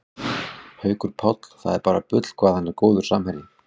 Haukur Páll, það er bara bull hvað hann er góður samherji